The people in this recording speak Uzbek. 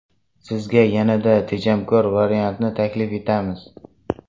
Sizga yanada tejamkor variantni taklif etamiz.